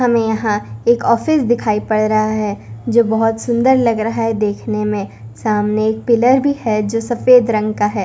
हमें यहां एक ऑफिस दिखाई पड़ रहा है जो बहोत सुंदर लग रहा है देखने में सामने एक पिलर भी है जो सफेद रंग का है।